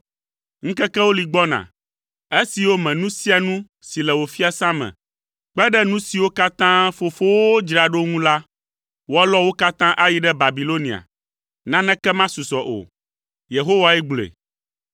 Ŋkekewo li gbɔna, esiwo me nu sia nu si le wò fiasã me, kpe ɖe nu siwo katã fofowòwo dzra ɖo ŋu la, woalɔ wo katã ayi ɖe Babilonia. Naneke masusɔ o. Yehowae gblɔe.